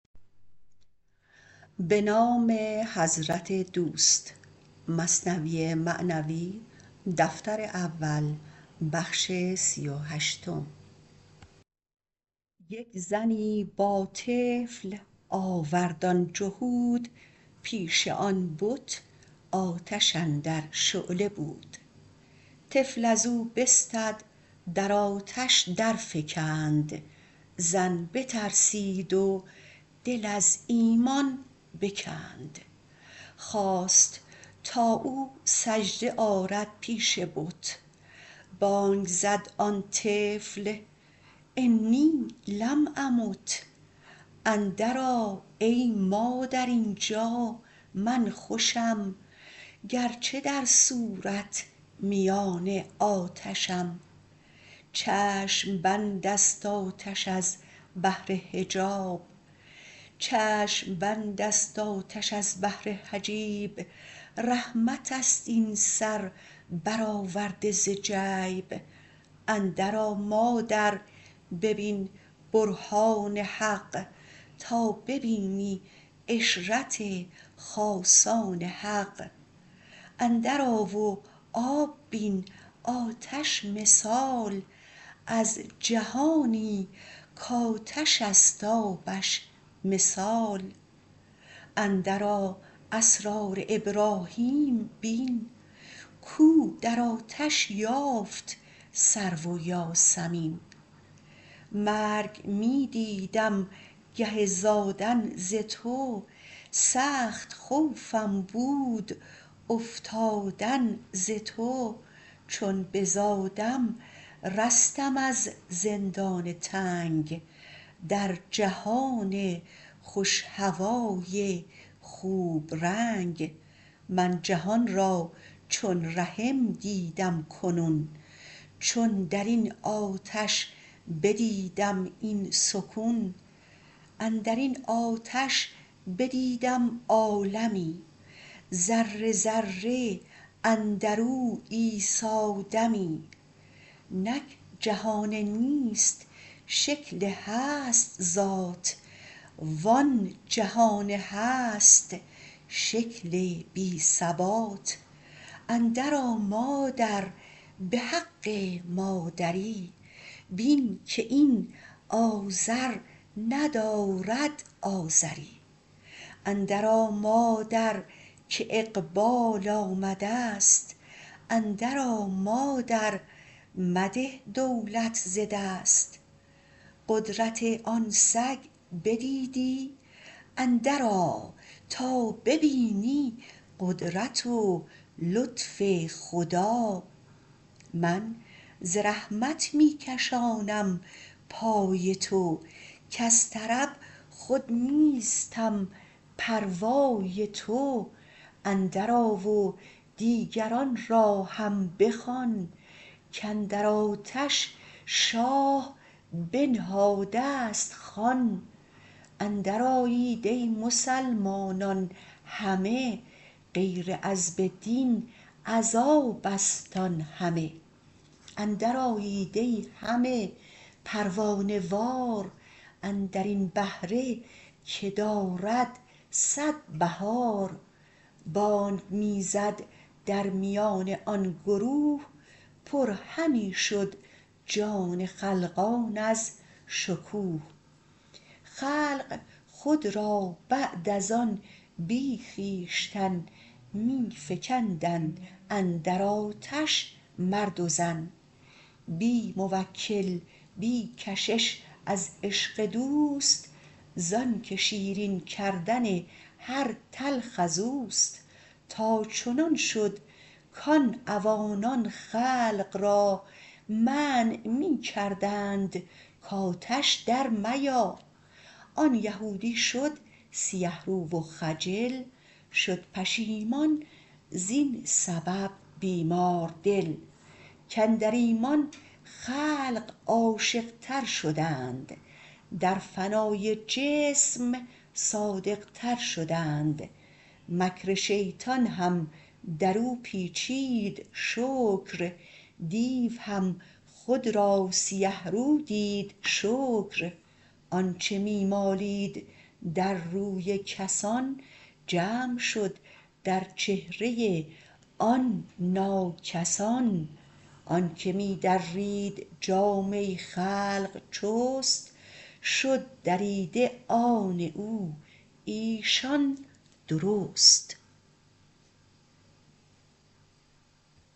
یک زنی با طفل آورد آن جهود پیش آن بت آتش اندر شعله بود طفل ازو بستد در آتش در فکند زن بترسید و دل از ایمان بکند خواست تا او سجده آرد پیش بت بانگ زد آن طفل إني لم أمت اندر آ ای مادر اینجا من خوشم گرچه در صورت میان آتشم چشم بندست آتش از بهر حجاب رحمتست این سر برآورده ز جیب اندر آ مادر ببین برهان حق تا ببینی عشرت خاصان حق اندر آ و آب بین آتش مثال از جهانی کآتش است آبش مثال اندر آ اسرار ابراهیم بین کو در آتش یافت سرو و یاسمین مرگ می دیدم گه زادن ز تو سخت خوفم بود افتادن ز تو چون بزادم رستم از زندان تنگ در جهان خوش هوای خوب رنگ من جهان را چون رحم دیدم کنون چون درین آتش بدیدم این سکون اندرین آتش بدیدم عالمی ذره ذره اندرو عیسی دمی نک جهان نیست شکل هست ذات و آن جهان هست شکل بی ثبات اندر آ مادر بحق مادری بین که این آذر ندارد آذری اندر آ مادر که اقبال آمدست اندر آ مادر مده دولت ز دست قدرت آن سگ بدیدی اندر آ تا ببینی قدرت و لطف خدا من ز رحمت می کشانم پای تو کز طرب خود نیستم پروای تو اندر آ و دیگران را هم بخوان کاندر آتش شاه بنهادست خوان اندر آیید ای مسلمانان همه غیر عذب دین عذابست آن همه اندر آیید ای همه پروانه وار اندرین بهره که دارد صد بهار بانگ می زد درمیان آن گروه پر همی شد جان خلقان از شکوه خلق خود را بعد از آن بی خویشتن می فکندند اندر آتش مرد و زن بی موکل بی کشش از عشق دوست زانک شیرین کردن هر تلخ ازوست تا چنان شد کان عوانان خلق را منع می کردند کآتش در میا آن یهودی شد سیه رو و خجل شد پشیمان زین سبب بیماردل کاندر ایمان خلق عاشق تر شدند در فنای جسم صادق تر شدند مکر شیطان هم درو پیچید شکر دیو هم خود را سیه رو دید شکر آنچ می مالید در روی کسان جمع شد در چهره آن ناکس آن آنک می درید جامه خلق چست شد دریده آن او ایشان درست